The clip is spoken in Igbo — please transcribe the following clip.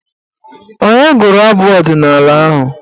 Onye gụrụ abụ ọdịnaala ahụ?